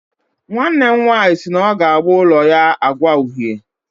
Nwanne m nwanyị si na ọ ga-agba ụlọ ya agwa uhie